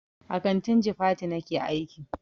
A kantin jifatu nake aiki.